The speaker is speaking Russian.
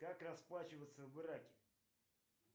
как расплачиваться в ираке